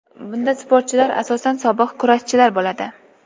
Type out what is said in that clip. Bunda sportchilar asosan sobiq kurashchilar bo‘ladi.